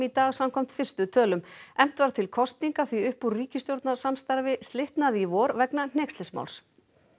dag samkvæmt fyrstu tölum efnt var til kosninga því upp úr ríkisstjórnarsamstarfi slitnaði í vor vegna hneykslismáls